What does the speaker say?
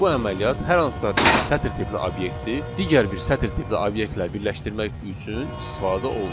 Bu əməliyyat hər hansısa bir sətr tipli obyekti digər bir sətr tipli obyektlə birləşdirmək üçün istifadə olunur.